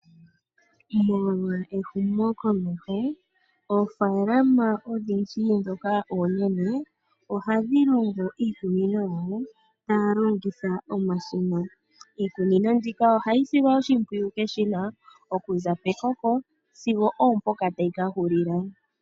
Molwa ehumokomeho oofaalama odhindji ndhoka oonene ohadhi longo iikunino yadho tadhi longitha omashina. Iikunino mbyoka ohayi silwa oshimpwiyu komashina sigo opo mpoka tayi kahulula.